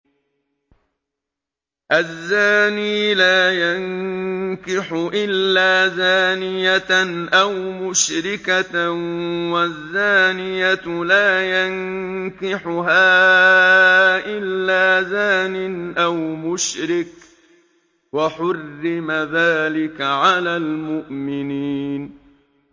الزَّانِي لَا يَنكِحُ إِلَّا زَانِيَةً أَوْ مُشْرِكَةً وَالزَّانِيَةُ لَا يَنكِحُهَا إِلَّا زَانٍ أَوْ مُشْرِكٌ ۚ وَحُرِّمَ ذَٰلِكَ عَلَى الْمُؤْمِنِينَ